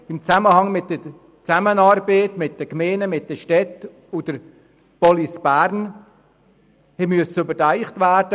Die Justierungen der Zusammenarbeit von Gemeinden, Städten und Police Bern mussten überdacht werden.